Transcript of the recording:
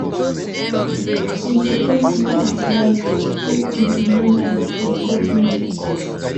We suppose know our rights make we demand am from government.